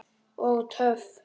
Og töff!